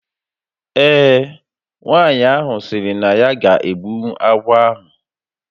Ee, nwaanyị ahụ sịrị na ya ga egbunwu agwọ ahu